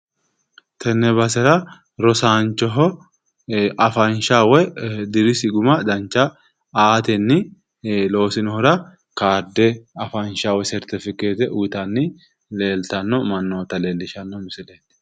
Tenne basera rosaancho afansha woy dirisi guma dancha aatenni loosinohura kaarde afansha woy sertifikeette uyiitanni leellitanno mannootaati